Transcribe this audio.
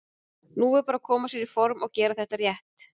Nú er bara að koma sér í form og gera þetta rétt.